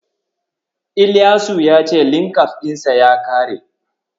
Ilyasu ya ce Linkabs ɗinsa ya ƙare.